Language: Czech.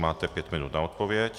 Máte pět minut na odpověď.